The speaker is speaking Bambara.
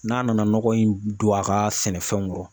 N'a nana nɔgɔ in don a ka sɛnɛfɛnw kɔrɔ